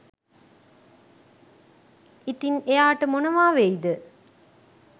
ඉතින් එයාට මොනවා වෙයිද